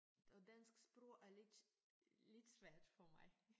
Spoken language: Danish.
Og dansk sprog er lidt lidt svært for mig